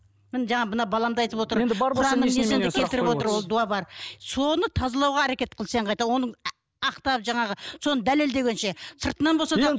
міне жаңа мына балам да айтып отыр ол дуа бар соны тазалауға әрекет қыл сен қайта оның ақтап жаңағы соны дәлелдегенше сыртынан болса да